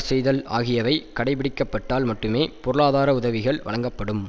செய்தல் ஆகியவை கடைபிடிக்கப்பட்டால் மட்டுமே பொருளாதார உதவி வழங்கப்படும்